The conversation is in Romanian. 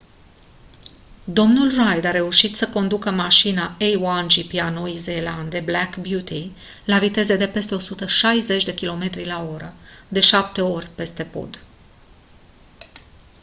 dl reid a reușit să conducă mașina a1 gp a noii zeelande black beauty la viteze de peste 160 km/oră de șapte ori peste pod